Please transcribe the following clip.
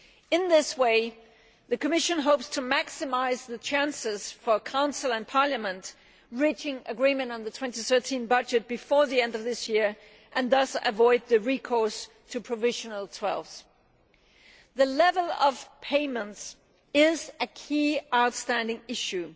In this way, the Commission hopes to maximise the chances for Council and Parliament to reach agreement on the 2013 budget before the end of the year and thus avoid recourse to provisional twelfths. The level of payments is a key outstanding issue.